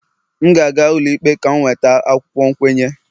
M ga-aga ụlọikpe ka m nweta akwụkwọ nkwenye